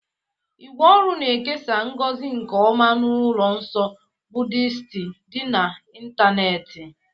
ígwè ọrụ na-ekesa ngozi nke ọma n'ụlọ nsọ Buddisiti dị n'ịntanetị.